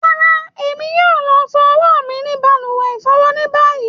Rárá, Èmi yóò lọ fọ ọwọ́ mí ní balùwẹ̀ ifọ́wọ́ ni báyìí.